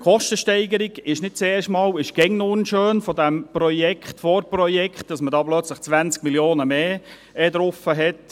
Die Kostensteigerung dieses Projekts beziehungsweise Vorprojekts ist nicht zum ersten Mal, sondern immer noch unschön, nämlich, dass es plötzlich 20 Mio. Franken mehr sind.